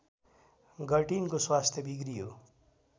गर्टिनको स्वास्थ्य बिग्रियो